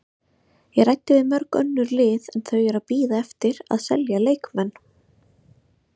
Ég ræddi við mörg önnur lið en þau eru að bíða eftir að selja leikmenn.